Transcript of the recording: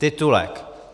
Titulek.